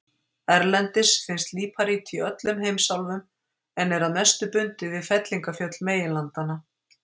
Erlendis finnst líparít í öllum heimsálfum en er að mestu bundið við fellingafjöll meginlandanna.